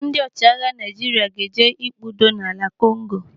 Ndị ọchịagha Naijiria ga-eje ikpe udo na Kongo.